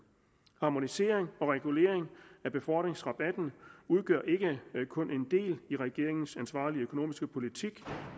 harmonisering og regulering af befordringsrabatten udgør ikke kun en del af regeringens ansvarlige økonomiske politik